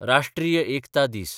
राष्ट्रीय एकता दीस